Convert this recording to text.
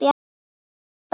kaupa hann.